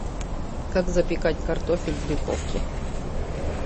как запекать картофель в духовке